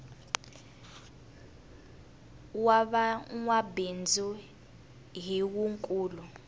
wa va nwabindzu hi wu nkulu